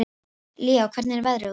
Líó, hvernig er veðrið úti?